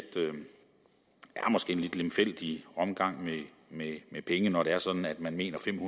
at det måske er en lidt lemfældig omgang med penge når det er sådan at man mener at fem